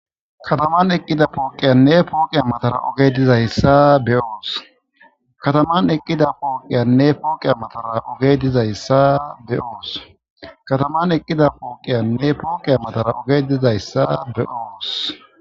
Kataman eqqida pooqiyanne pooqi matara oge dizayssa be'oos, kataman eqqida pooqiyanne pooqe matara oge dizayssa be oos kataman eqqida pooqiyanne pooqe matara oge dizayssa be'oos.